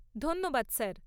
ধন্যবাদ স্যার।